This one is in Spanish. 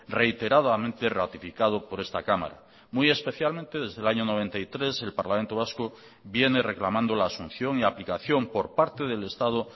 reiteradamente ratificado por esta cámara muy especialmente desde el año noventa y tres el parlamento vasco viene reclamando la asunción y aplicación por parte del estado